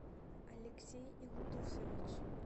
алексей илдусович